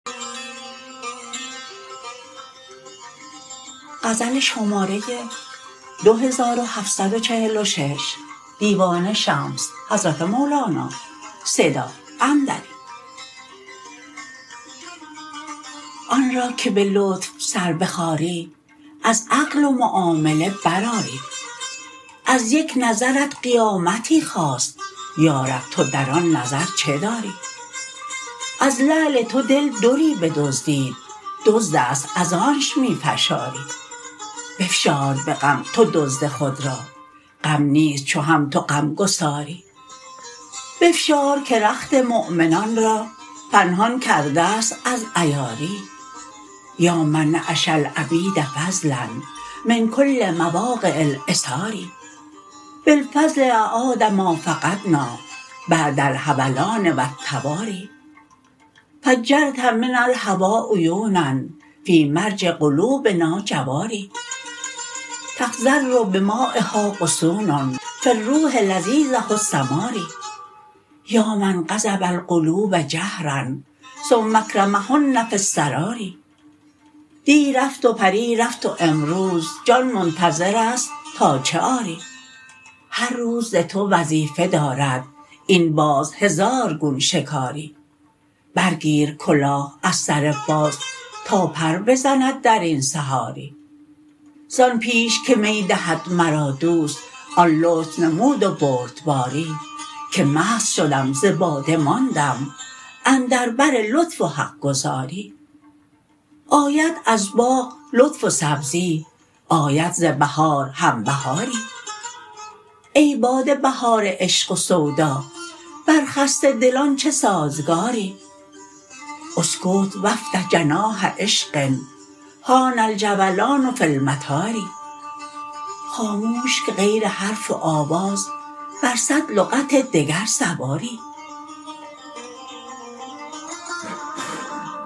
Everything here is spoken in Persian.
آن را که به لطف سر بخاری از عقل و معامله برآری از یک نظرت قیامتی خاست یا رب تو در آن نظر چه داری از لعل تو دل دری بدزدید دزد است از آنش می فشاری بفشار به غم تو دزد خود را غم نیست چو هم تو غمگساری بفشار که رخت مؤمنان را پنهان کرده است از عیاری یا من نعش العبید فضلا من کل مواقع العثار بالفضل اعاد ما فقدنا بعد الحولان و التواری فجرت من الهوا عیونا فی مرج قلوبنا جواری تخضر بمایها غصون فی الروح لذیذه الثمار یا من غصب القلوب جهرا ثم اکرمهن فی السرار دی رفت و پریر رفت و امروز جان منتظر است تا چه آری هر روز ز تو وظیفه دارد این باز هزار گون شکاری برگیر کلاه از سر باز تا پر بزند در این صحاری زان پیش که می دهد مرا دوست آن لطف نمود و بردباری که مست شدم ز باده ماندم اندر بر لطف و حق گزاری آید از باغ لطف و سبزی آید ز بهار هم بهاری ای باد بهار عشق و سودا بر خسته دلان چه سازگاری اسکت و افتح جناح عشق حان الجولان فی المطار خاموش که غیر حرف و آواز بی صد لغت دگر سواری